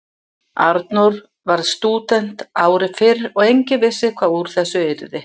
Arnór varð stúdent ári fyrr og enginn vissi hvað úr þessu yrði.